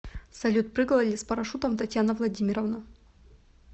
салют прыгала ли с парашютом татьяна владимировна